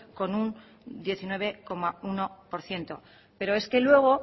con un diecinueve coma uno por ciento pero es que luego